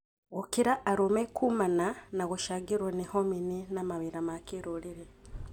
Gũkĩra arũme kũmana na gũcangĩrwo nĩ homini na mawĩra ma kĩrũrĩrĩ.